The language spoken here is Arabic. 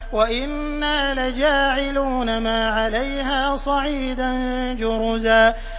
وَإِنَّا لَجَاعِلُونَ مَا عَلَيْهَا صَعِيدًا جُرُزًا